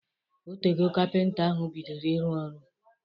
Otego kapịnta ahụ bidoro ịrụ ọrụ